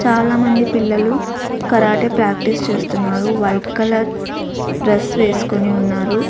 చాలామంది పిల్లలు karate practice చేస్తున్నారు వైట్ కలర్ డ్రస్ వేసుకుని ఉన్నారు.